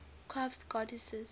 crafts goddesses